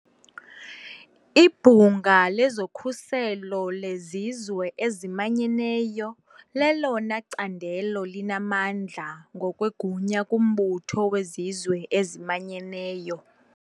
Ibhunga lezokhuselo lezizwe ezimanyeneyo lelona candelo linamandla ngokwegunya kumbutho wezizwe ezimanyeneyo.